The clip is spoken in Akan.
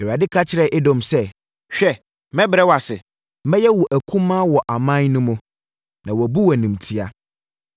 Awurade ka kyerɛ Edom sɛ: “Hwɛ mɛbrɛ wo ase, mɛyɛ wo akumaa wɔ aman no mu, na wɔabu wo animtia.